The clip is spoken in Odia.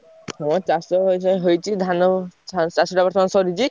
ହଁ ଚାଷ ବାସ ହୋଇଛି ଧାନ ~ଛା ଚାଷଟା ବର୍ତ୍ତମାନ ସରିଚି।